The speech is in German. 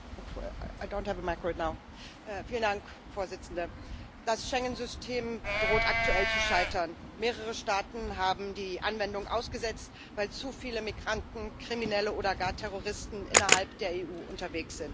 Frau Präsidentin! Das Schengen System droht aktuell zu scheitern. Mehrere Staaten haben die Anwendung ausgesetzt, weil zu viele Migranten, Kriminelle oder gar Terroristen innerhalb der EU unterwegs sind.